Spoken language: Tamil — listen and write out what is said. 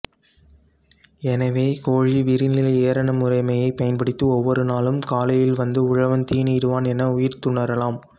எனவே கோழி விரிநிலை ஏரணமுறைமையைப் பயன்படுத்தி ஒவ்வொரு நாளும் காலையில் வந்து உழவன் தீனி இடுவான் என உய்த்துணரலாம்